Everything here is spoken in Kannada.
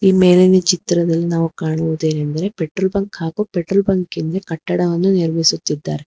ಮೇಲಿನ ಚಿತ್ರದಲ್ಲಿ ನಾವು ಕಾಣುವುದೆನೆಂದರೆ ಬಂಕ್ ಹಾಗೂ ಪೆಟ್ರೋಲ್ ಬೆಂಕಿನ ಕಟ್ಟಡವನ್ನು ನಿರ್ಮಿಸುತ್ತಿದ್ದಾರೆ.